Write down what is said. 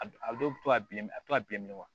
A dɔw bɛ to a bilenm a bɛ to ka bilen wa